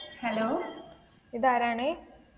Hello ഇതാരാണ്?